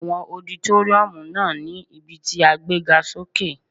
Àwọn ọditóríọ̀mù náà ní ibí tí a gbé ga sókè